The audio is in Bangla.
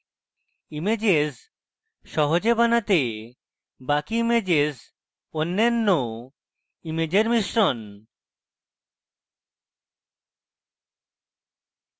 ইমেজেস সহজে বানাতে বাকি ইমেজেস অন্যান্য ইমেজের মিশ্রণ